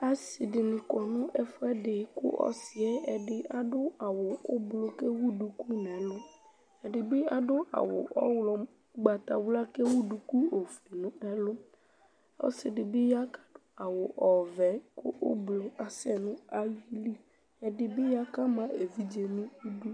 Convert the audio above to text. Asidini kɔ nu ɛfuɛdi ɔsi ɛdi adu awu ublu ku ewu duku nu ɛlu edigbo adu awu ɔɣlo ugbatawla ku ɛwu duku ofue nu ɛlu ɔsidibi ya ku adu awu ɔvɛ ɛdibi ya ku ama evidze di nu idu